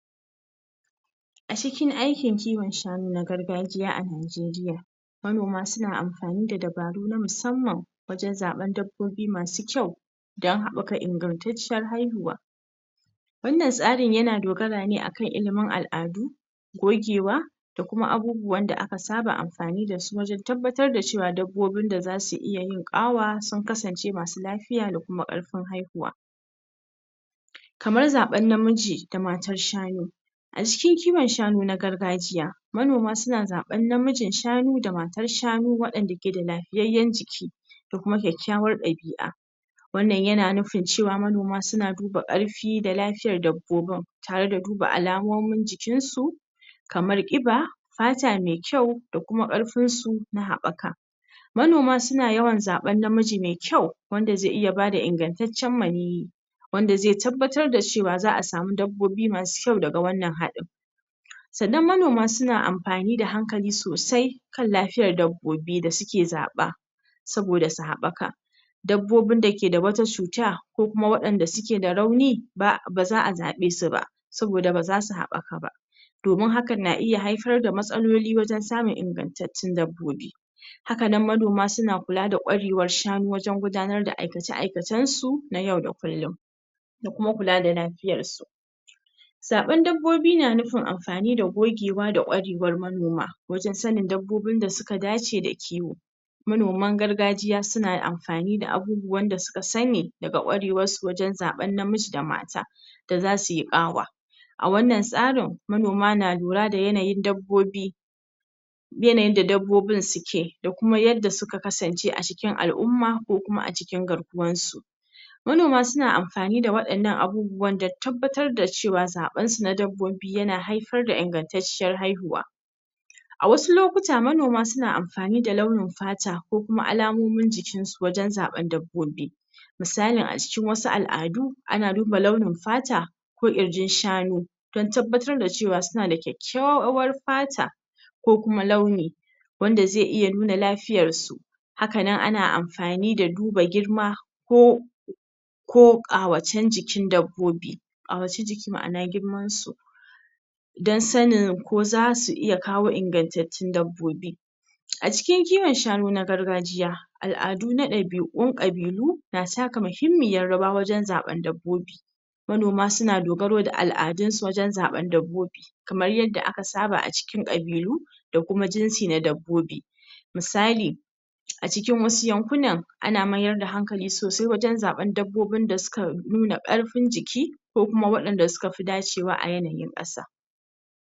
A cikin aikin kiwon shanu na gargajiya a Najeriya manoma suna amfani da dabaru na musamman wajen zaɓen dabbobi masu kyau don haɓaka ingantacciyar haihuwa. Wannan tsarin yan dogara ne akan ilimin al'adu gogewa da kuma abubuwan da aka saba amfani da su wajen tabbatar da cewa dabbobin da za su iya yin awa sun kasance masu lafiya da kuma ƙarfin haihuwa. Kamar zaɓar namiji ga matan shanu. a cikin kiwon shanu na gargajiya. Manoma suna zaɓar namijin shanu da matar shanu waɗanda ke da lafiyayyen jiki. da kuma kyakkyawar ɗabi'a wannan yana nufin cewa manoma suna duba ƙarfi da lafiyar dabbobin tare da duba alamonin jikinsu kamar ƙiba fata mai kyau da kuma ƙarfinsu na haɓaka. Manoma suna yawan zaɓen namiji mai kyau wanda zai iya ba da ingantaccen maniyyi wanda zai tabbatar da cewa za a samu dabbobi masu kyau daga wannan haɗin Sannan manoma suna amfani da hankali sosai kan lafiyar dabbobi da suke zaɓa. saboda su haɓaka. Dabbobin da ke da wata cuta, ko kuma waɗanda suke da rauni ba za a zaɓe su ba, saboda ba za su haɓaka ba. Domin hakan na iya haifar da matsaloli wajen samun inganttaun dabbobi. Haka nan manoma suna amfani da ƙwarewar shanu wajen gudanar da aikace-aikacensu na yauda kullum. da kuma kula da lafiyarsu. Zaɓen dabbobi na nufin amfani da gogewa da ƙwarewar manoma wajen sanin dabbobin da suka dace da kiwo. manoman gargajiya suna amfani da abubuwan da suka sani daga ƙwarewarsu wajen zaɓar namiji da mata da za sui ƙawa A wannan tsarin manoma na lura da yanayin dabbobi Yanayin da dabbobin suke, da kuma yadda suka kasance a cikin al'umma ko kuma a cikin garkuwansu. manoma suna amfani waɗannan abubuwan don tabbatar da cewa zaɓensu na dabbobi yana haifar da ingantacciyar haihuwa A wasu lokuta manoma su na amfani da launin fata ko kuma alamonin jikinsu wajen zaɓen dabbobi Misalin a cikin wasu al'adu ana duba launin fata ko ƙirjin shanu. don tabbatar da cewa suna da kyakkyawar fata ko kuma launi wanda zai iya nuna lafiyarsu haka nan ana amfani da duba girma ko ko ƙawacen jikin dabbobi a ƙawacen jiki ma'ana girmansu don sanin ko za su iya kawo ingantattun dabbobi. A cikin kiwon shanun na gargajiya, Al'ada na ɗabi'un ƙabilu na taka muhimmiyar rawa wajen zaɓen dabbobi. Manoman suna dogaro da al'adunsu wajen zaɓen dabbobi kamar yadda aka saba a cikin ƙabilu da kuma jinsi na dabbobi misali a cikin wasu yankunan Ana mayar da hankali sosai wajen zaɓen dabbobin da suka nuna ƙarfin jiki ko kuma waɗanda suka fi dacewa a yanayin ƙasa.